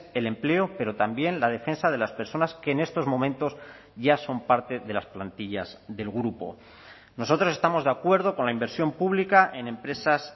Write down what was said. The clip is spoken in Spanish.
el empleo pero también la defensa de las personas que en estos momentos ya son parte de las plantillas del grupo nosotros estamos de acuerdo con la inversión pública en empresas